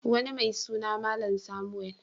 Wani mai suna Malam Samuel.